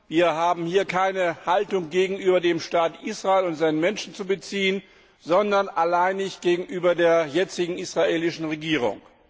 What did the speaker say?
Wir haben hier keine Haltung gegenüber dem Staat Israel und seinen Menschen zu beziehen, sondern alleinig gegenüber der jetzigen israelischen Regierung.